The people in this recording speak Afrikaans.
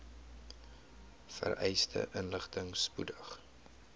vereiste inligting spoedig